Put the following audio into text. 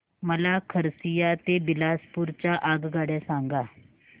मला खरसिया ते बिलासपुर च्या आगगाड्या सांगा